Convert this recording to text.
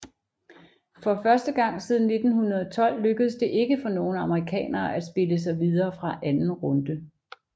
For første gang siden 1912 lykkedes det ikke for nogen amerikanere at spille sig videre fra anden runde